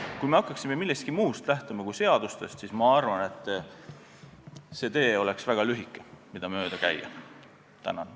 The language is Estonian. Kui me hakkaksime lähtuma millestki muust kui seadustest, siis ma arvan, et see tee, mida mööda käia, oleks väga lühike.